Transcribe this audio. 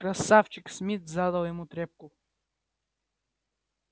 красавчик смит задал ему трёпку